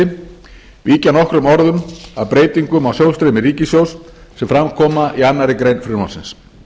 forseti víkja nokkrum orðum að breytingum á sjóðsstreymi ríkissjóðs sem fram koma í annarri grein frumvarpsins